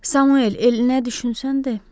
Samuel, El nə düşünsən de.